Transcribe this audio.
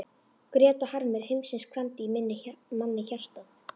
Grét og harmur heimsins kramdi í manni hjartað.